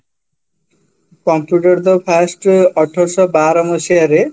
computer ତ first ଅଠରସହବାର ମସିହାରେ